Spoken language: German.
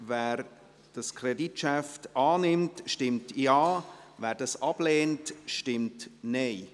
Wer dieses Kreditgeschäft annimmt, stimmt Ja, wer es ablehnt, stimmt Nein.